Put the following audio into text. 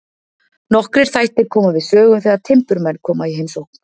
Nokkrir þættir koma við sögu þegar timburmenn koma í heimsókn.